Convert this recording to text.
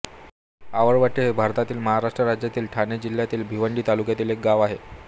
आवळवटे हे भारतातील महाराष्ट्र राज्यातील ठाणे जिल्ह्यातील भिवंडी तालुक्यातील एक गाव आहे